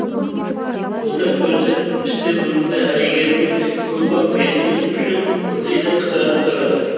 бота көзді пісте мұрынды әйгерімнің томпақ бетінің ұшы ылғи да қызарып тұратын